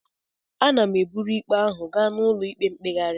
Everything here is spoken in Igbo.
Aga m eburu ikpe ahụ gaa n'ụlọ ikpe mkpegharị